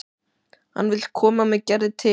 Hann vill koma með Gerði til